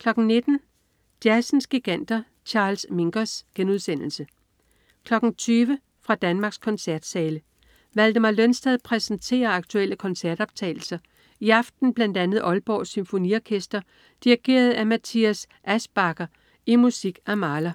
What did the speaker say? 19.00 Jazzens Giganter. Charles Mingus* 20.00 Fra Danmarks koncertsale. Valdemar Lønsted præsenterer aktuelle koncertoptagelser, i aften bl.a. Aalborg Symfoniorkester dirigeret af Matthias Aeschbacher i musik af Mahler.